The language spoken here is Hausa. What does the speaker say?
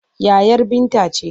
Yayar Binta ce.